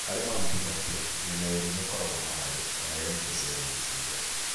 Harĩ maũthĩ maingĩ, mĩena yerĩ nĩĩkoragwo na mayũ, kana ĩgakio cero-inĩ ciothe